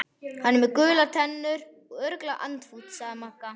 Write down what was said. Hann er með gular tennur, örugglega andfúll sagði Magga.